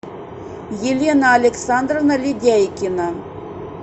елена александровна ледяйкина